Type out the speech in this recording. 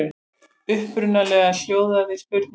Upprunalega hljóðaði spurningin svona: